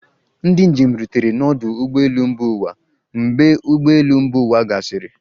Ndị njem rutere n'ọdụ ụgbọ elu mba ụwa mgbe ụgbọ elu mba ụwa gasịrị